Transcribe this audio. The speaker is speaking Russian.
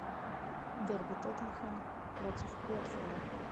дерби тоттенхэм против уотфорда